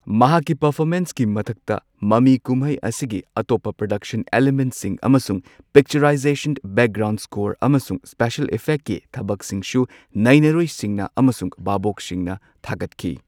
ꯃꯍꯥꯛꯀꯤ ꯄꯔꯐꯣꯔꯃꯦꯟꯁꯀꯤ ꯃꯊꯛꯇ ꯃꯃꯤꯀꯨꯝꯍꯩ ꯑꯁꯤꯒꯤ ꯑꯇꯣꯞꯄ ꯄ꯭ꯔꯗꯛꯁꯟ ꯑꯦꯂꯤꯃꯦꯟꯠꯁꯤꯡ ꯑꯃꯁꯨꯡ ꯄꯤꯛꯆꯔꯥꯏꯖꯦꯁꯟ, ꯕꯦꯛꯒ꯭ꯔꯥꯎꯟ ꯁ꯭ꯀꯣꯔ, ꯑꯃꯁꯨꯡ ꯁ꯭ꯄꯤꯁ꯭ꯌꯦꯜ ꯏꯐꯦꯛꯀꯤ ꯊꯕꯛꯁꯤꯡꯁꯨ ꯅꯩꯅꯔꯣꯏꯁꯤꯡꯅ ꯑꯃꯁꯨꯡ ꯚꯥꯕꯣꯛꯁꯤꯡꯅ ꯊꯥꯒꯠꯈꯤ꯫